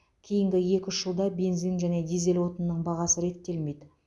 кейінгі екі үш жылда бензин және дизель отынының бағасы реттелмейді